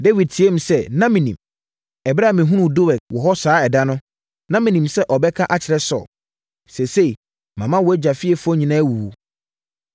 Dawid teaam sɛ, “Na menim! Ɛberɛ a mehunuu Doeg wɔ hɔ saa ɛda no, na menim sɛ ɔbɛka akyerɛ Saulo. Seesei, mama wʼagya fiefoɔ nyinaa awuwu.